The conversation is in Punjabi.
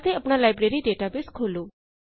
ਅਤੇ ਆਪਣਾ ਲਾਇਬ੍ਰੇਰੀ ਡੇਟਾਬੇਸ ਖੋਲੋ